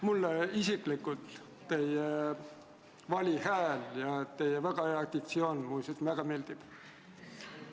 Mulle isiklikult teie vali hääl ja teie hea diktsioon väga meeldib.